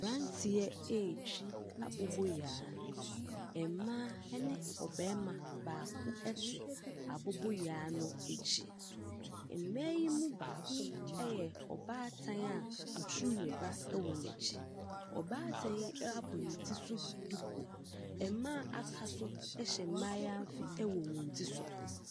Abranteɛ retwi aboboyaa. Mmaa ne ɔbarima baako aboboyaa no akyi. Mmaa yi mu baako a yɛ ɔbaatan a oturu ba wɔ n'akyi. Ɔbaatan yi abɔ ne ti so duku. Mmaa a aka no hyɛ mmaayaafi wɔ wɔn ti so.